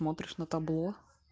смотришь на табло